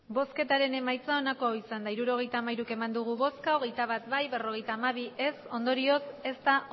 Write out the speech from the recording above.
emandako botoak hirurogeita hamairu bai hogeita bat ez berrogeita hamabi ondorioz ez da